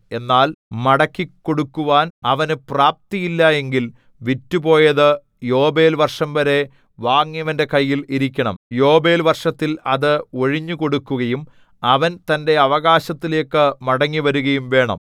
എന്നാൽ മടക്കിക്കൊടുക്കുവാൻ അവനു പ്രാപ്തിയില്ല എങ്കിൽ വിറ്റുപോയതു യോബേൽ വർഷംവരെ വാങ്ങിയവന്റെ കയ്യിൽ ഇരിക്കണം യോബേൽ വർഷത്തിൽ അത് ഒഴിഞ്ഞുകൊടുക്കുകയും അവൻ തന്റെ അവകാശത്തിലേക്കു മടങ്ങിവരുകയും വേണം